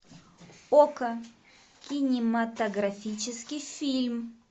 окко кинематографический фильм